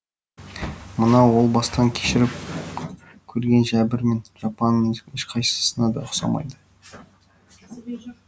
мынау ол бастан кешіріп көрген жәбір мен жапаның ешқайсысына да ұқсамайды